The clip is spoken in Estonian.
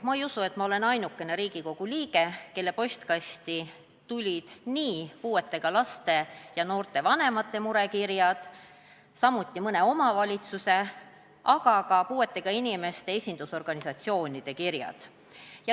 Ma ei usu, et ma olen ainukene Riigikogu liige, kelle postkasti tulid puuetega laste ja noorte vanemate murekirjad, samuti mõne omavalitsuse, aga ka puuetega inimeste esindusorganisatsioonide kirjad.